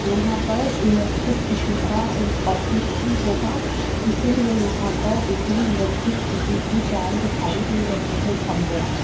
यहाँ पर electricity का एक ऑफिस भी होगा इसीलिए यहाँ पर इतनी इलेक्ट्रिक सिटी के जाल दिखाई दे रहे हैं खम्बों के --